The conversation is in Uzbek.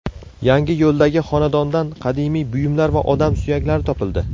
Yangiyo‘ldagi xonadondan qadimiy buyumlar va odam suyaklari topildi.